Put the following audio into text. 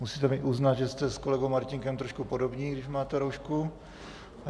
Musíte mi uznat, že jste s kolegou Martínkem trošku podobní, když máte roušku.